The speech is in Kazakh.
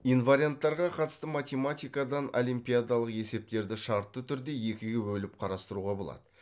инварианттарға қатысты математикадан олимпиадалық есептерді шартты түрде екіге бөліп қарастыруға болады